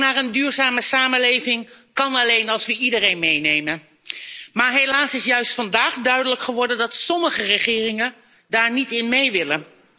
Voorzitter, de overgang naar een duurzame samenleving kan alleen als we iedereen meenemen. Helaas is juist vandaag duidelijk geworden dat sommige regeringen daar niet in mee willen.